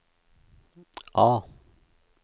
A